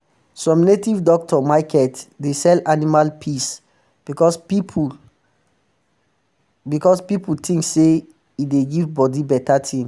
some native doctor um market dey sell animal piss because pipu because pipu think say e dey give bodi better ting